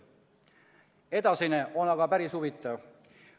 Edasine on aga päris huvitav.